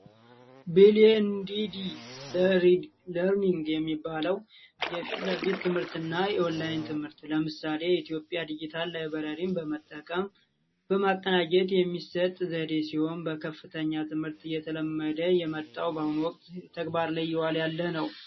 ቢልየድድ ለርኒግ የሚባለው የፊትለፊት ትምህርትና ኦንላይን ትምህርት ሲሆን ለምሳሌ ኢትዮጵያ ዲጂታል ላይበራሪ በመጠቀም የሚሰጥ ዘዴ ሲሆን በከፍተኛ ትምህርት እየተለመደ የመጣው በአሁኑ ወቅት ተግባር ያለ ነው።